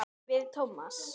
Við Tómas.